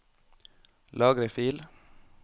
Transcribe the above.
Lagre fil